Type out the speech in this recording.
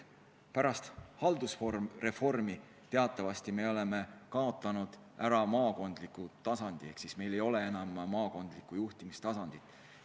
Pärast haldusreformi me teatavasti oleme ära kaotanud maakondliku tasandi, meil ei ole enam maakondlikku juhtimistasandit.